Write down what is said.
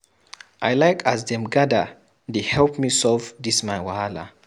I like as dem gather dey help me solve dis my wahala.